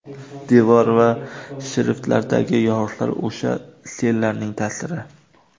Devor va shiftlardagi yoriqlar o‘sha sellarning ta’siri.